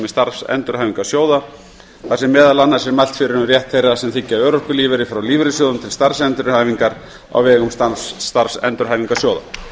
starfsendurhæfingarsjóða þar sem meðal annars er mælt fyrir um rétt þeirra sem þiggja örorkulífeyri frá lífeyrissjóðunum til starfsendurhæfingar á vegum starfsendurhæfingarsjóða